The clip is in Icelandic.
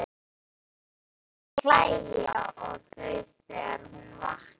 Hvað hana mundi klæja í þau þegar hún vaknaði!